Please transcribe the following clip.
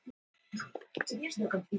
En hafðu engar áhyggjur.